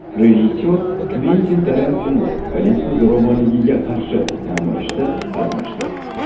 Rejissor Kventin Tarantino politsiya zo‘ravonligiga qarshi namoyishda qatnashdi.